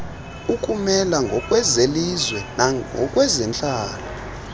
ukumela ngokwezelizwe nangokwezentlalo